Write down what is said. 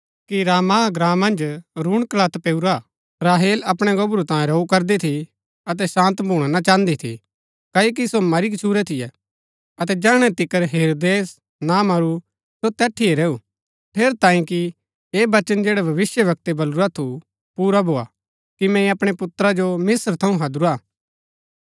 रामाह ग्राँ मन्ज रूणकलत पैऊरा राहेल अपणै गोबरू तांऐ रोऊ करदी थी अतै शान्त भूणा ना चाहन्दी थी क्ओकि सो मरी गच्छुरै थियै अतै जैहणै तिकर हेरोदेस ना मरू सो तैठिये रैऊ ठेरैतांये कि ऐह वचन जैडा भविष्‍यवक्तै बलुरा थु पुरा भोआ कि मैंई अपणै पुत्रा जो मिस्त्र थऊँ हैदुरा